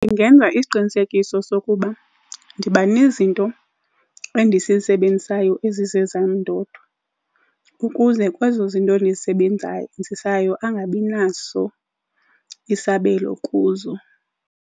Ndingenza isiqinisekiso sokuba ndibanezinto endizisebenzisayo ezizezam ndodwa, ukuze kwezo zinto ndizisebenzayo angabinaso isabelo kuzo.